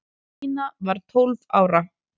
Stína var tólf ára.